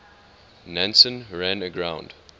nansen ran aground